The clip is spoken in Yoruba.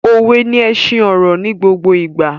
Òwe ni ẹṣin ọ̀rọ̀ ni gbogbo ìgbà